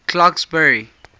clarksburry